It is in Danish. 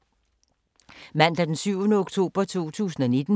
Mandag d. 7. oktober 2019